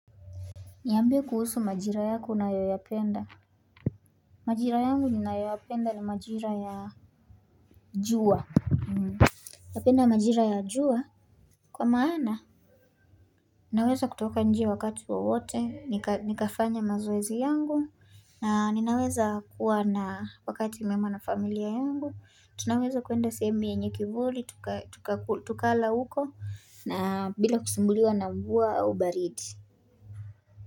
Niambia kuhusu majira yako unayoyapenda Majira yangu ninayoyapenda ni majira ya jua napenda majira ya jua Kwa maana, ninaweza kutoka nje wakati wowote, nika nikafanya mazoezi yangu na ninaweza kuwa na wakati mwema na familia yangu, tunaweza kuenda sehemu yenye kivuli, tuka tuka tukala huko, na bila kusumbuliwa na mvua au baridi.